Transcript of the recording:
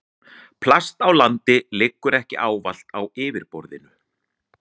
Plast á landi liggur ekki allt á yfirborðinu.